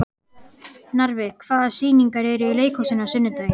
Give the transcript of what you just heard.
Narfi, hvaða sýningar eru í leikhúsinu á sunnudaginn?